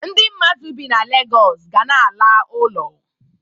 Ndi mmadụ bi na Legọs ga na-ala uno.